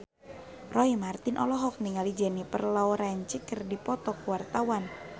Roy Marten olohok ningali Jennifer Lawrence keur diwawancara